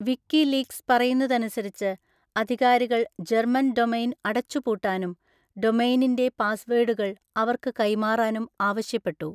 WikiLeaks പറയുന്നതനുസരിച്ച്, അധികാരികൾ German domain അടച്ചുപൂട്ടാനും ഡൊമെയ്‌നിന്റെ പാസ്‌വേഡുകൾ അവർക്ക് കൈമാറാനും ആവശ്യപ്പെട്ടു.